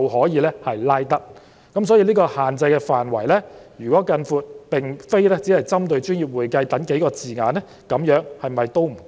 因此，如果將限制範圍擴大至並非只針對"專業會計"等數個字眼，是否仍不足夠？